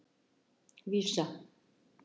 Vísa